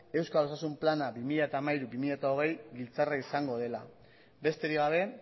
euskal osasun plana bi mila hamairu bi mila hogei giltzarria izango dela besterik gabe